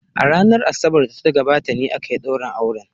A ranar Asabar da ta gabata ne aka yi daurin auren.